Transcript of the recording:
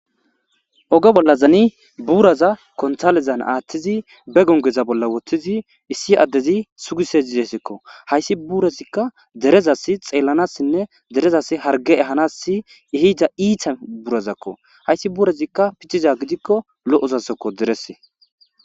Oge bolla zani buraza kontalezan aaththizi be gongeza bolla woththizi issi addezi sugisezidesekko hayssi burezikka derezasi xeellanassinne derezas harge ehanassi ihida iita burazakko hayssi burezikka picciza gidikko lo7osasokko derese